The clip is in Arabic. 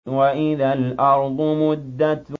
وَإِذَا الْأَرْضُ مُدَّتْ